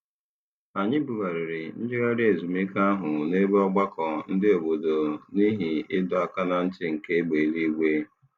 Anyị bugara njegharị ezumike ahụ n'ebe mgbakọ ndị obodo n'ihi ịdọ aka na ntị nke egbe eluigwe.